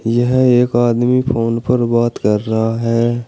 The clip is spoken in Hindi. यह एक आदमी फोन पर बात कर रहा है।